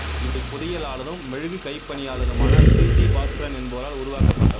இவை பொறியியலாளரும் மெழுகுக் கைப்பணியாளருமான சிறீஜி பாஸ்கரன் என்பவரால் உருவாக்கப்பட்டவை